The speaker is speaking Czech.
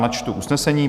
Načtu usnesení?